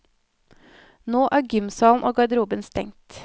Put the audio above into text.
Nå er gymsalen og garderoben stengt.